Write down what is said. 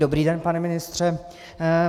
Dobrý den, pane ministře.